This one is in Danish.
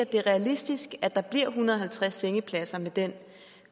det er realistisk at der bliver en hundrede og halvtreds sengepladser med den